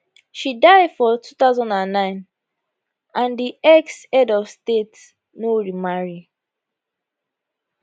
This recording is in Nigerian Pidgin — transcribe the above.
she die for 2009 and di exhead of state no remarry